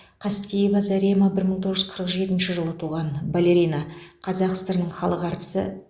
қастеева зарема бір мың тоғыз жүз қырық жетінші жылы туған балерина қазақ сср інің халық әртісі